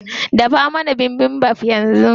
Dafa mana bibimbap yanzu.